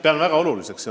Pean seda väga oluliseks.